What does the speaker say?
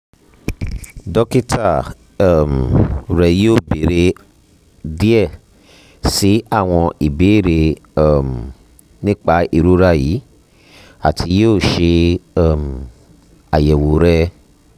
dokita um rẹ yoo beere diẹ sii awọn ibeere um nipa irora yii ati yoo ṣe um ayẹwo rẹ